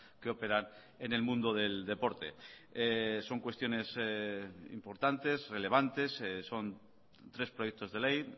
que operan en el mundo del deporte son cuestiones importantes relevantes son tres proyectos de ley